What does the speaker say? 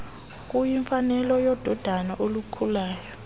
kuyimfanelo yododana olukhulayo